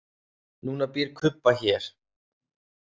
Núna býr Kuba hér.